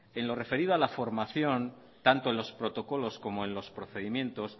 en lo referido a la formación tanto en los protocolos como en los procedimientos